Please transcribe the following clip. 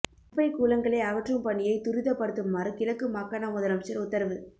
குப்பை கூழங்களை அகற்றும் பணியை துரிதப்படுத்துமாறு கிழக்கு மாகாண முதலமைச்சர் உத்தரவு